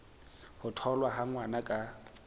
ho tholwa ha ngwana ka